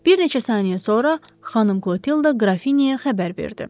Bir neçə saniyə sonra Xanım Qlotilda Qrafinyaya xəbər verdi.